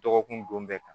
Dɔgɔkun don bɛɛ kan